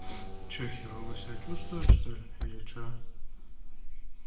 что херова себя чувствуешь что-ли или что